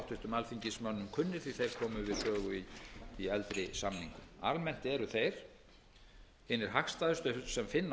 alþingismönnum kunnir því að þeir komu við sögu í eldri samningum almennt eru þeir hinir hagstæðustu sem finna